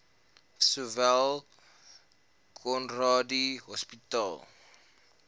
sowel conradie hospitaal